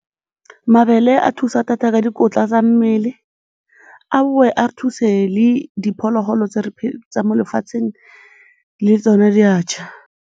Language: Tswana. Mabele a thusa thata ka dikotla tsa mmele, a boe a thuse le diphologolo tsa mo lefatsheng, le tsone di a ja.